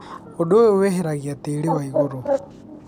ũndũ ũyũ weheragia tĩrĩ waigũrũ.